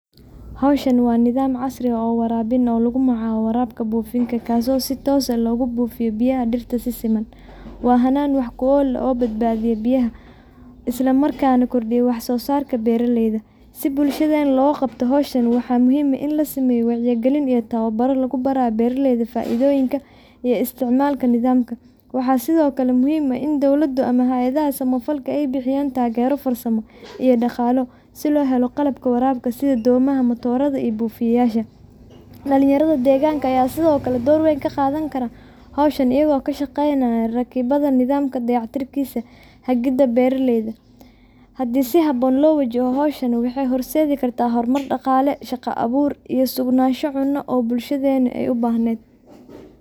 Hawshan waa nidaam casri ah oo waraabin ah oo lagu magacaabo waraabka buufinta kaasoo si toos ah ugu buufiyaa biyaha dhirta si siman. Waa hannaan wax ku ool ah oo badbaadiya biyaha, isla markaana kordhiya wax-soosaarka beeraleyda. Si bulshadeenna looga qabto hawshan, waxaa muhiim ah in la sameeyo wacyigelin iyo tababaro lagu barayo beeraleyda faa’iidooyinka iyo isticmaalka nidaamkan. Waxaa sidoo kale muhiim ah in dowladdu ama hay’adaha samafalka ay bixiyaan taageero farsamo iyo dhaqaale si loo helo qalabka waraabka sida dhuumaha, matoorada iyo buufiyeyaasha. Dhallinyarada deegaanka ayaa sidoo kale door weyn ka qaadan kara hawshan, iyagoo ka shaqeynaya rakibidda nidaamka, dayactirkiisa iyo hagidda beeraleyda. Haddii si habboon loo wajahdo, hawshan waxay horseedi kartaa horumar dhaqaale, shaqo abuur iyo sugnaansho cunno oo bulshadeennu ay u baahnayd.